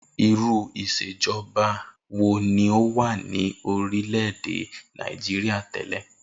Irú ìs̩èjo̩ba ni ó wà ní orílè̩ èdè Nàìjíríà té̩lè̩?